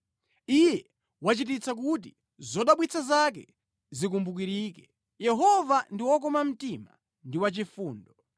Iye wachititsa kuti zodabwitsa zake zikumbukirike; Yehova ndi wokoma mtima ndi wachifundo.